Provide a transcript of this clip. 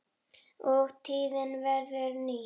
og tíðin verður ný.